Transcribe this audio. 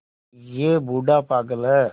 यह बूढ़ा पागल है